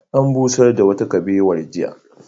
An busar da wata kubewar jiya.